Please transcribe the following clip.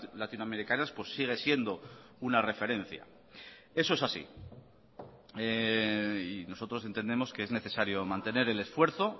latinoamericanas pues sigue siendo una referencia eso es así y nosotros entendemos que es necesario mantener el esfuerzo